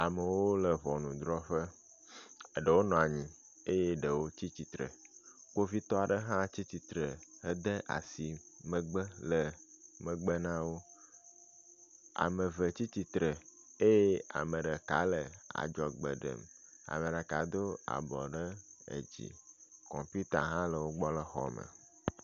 Amewo le ŋɔnudrɔƒe. eɖewo nɔ anyi eye ɖewo tsi tsitre. Kpovitɔ aɖe hã tsi tsitre hede asi megbe le megbe na wo. Ame eve tsi tsitre eye ame ɖeka le adzɔgbe ɖem. Ame ɖeka do abɔ ɖe edzi kɔmpita hã le wo gbɔ le xɔ me.